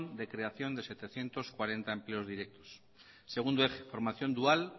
de creación de setecientos cuarenta empleos directos segundo eje formación dual